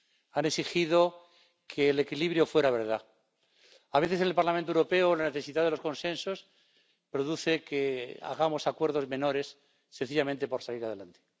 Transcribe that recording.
Han exigido que el equilibrio fuera verdad. A veces, en el Parlamento Europeo, la necesidad de los consensos hace que produzcamos acuerdos menores sencillamente por salir adelante.